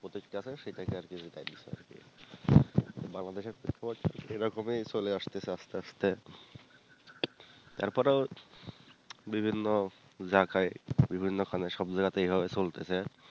প্রতিষ্ঠাতা সেটাকে আর কেও বাংলাদেশে প্রেক্ষাপটে এরকমই চলে আস্তেসে আস্তেআস্তে তারপরেও বিভিন্ন জাইগায় বিভিন্ন খানে সব জাইগায় তে এইভাবেই চলতেছে